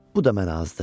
Bu da mənə azdı.